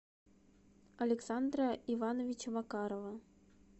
александра ивановича макарова